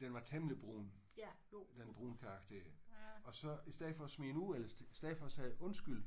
Den var temmelig brun den brunkage der. Og så i stedet for at smide den ud eller i stedet for at sige undskyld